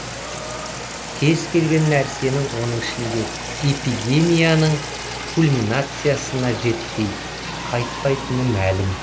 кез келген нәрсенің оның ішінде эпидемияның кульминациясына жетпей қайтпайтыны мәлім